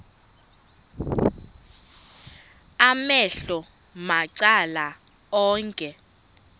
amehlo macala onke